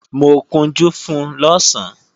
Mo kunjú fun lọ̀sán